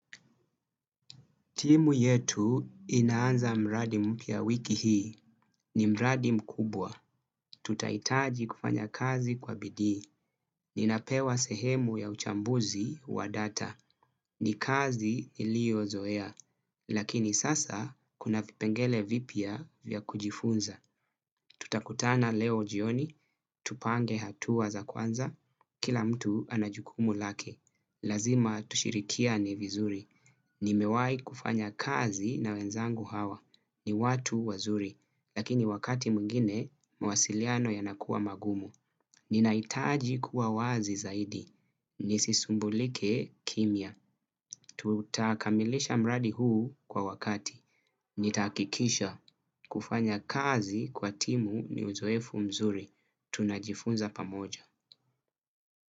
Timu yetu inaanza mradi mpya wiki hii. Ni mradi mkubwa. Tutahitaji kufanya kazi kwa bidii. Ninapewa sehemu ya uchambuzi wa data. Ni kazi iliozoea. Lakini sasa kuna vipengele vipya vya kujifunza. Tutakutana leo jioni. Tupange hatua za kwanza. Kila mtu ana jukumu lake. Lazima tushirikiane vizuri. Nimewahi kufanya kazi na wenzangu hawa. Ni watu wazuri. Lakini wakati mwingine, mawasiliano yanakuwa magumu. Ninahitaji kuwa wazi zaidi. Nisisumbulike kimya. Tutakamilisha mradi huu kwa wakati. Nitahakikisha kufanya kazi kwa timu ni uzoefu mzuri. Tunajifunza pamoja.